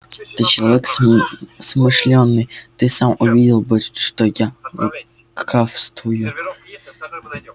ты человек смышлёный ты сам увидел бы что я лукавствую